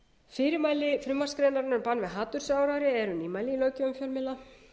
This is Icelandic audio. fyrirmæli frumvarpsgreinarinnar um bann við hatursáróðri eru nýmæli í löggjöf fjölmiðla